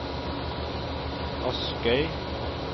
Askøy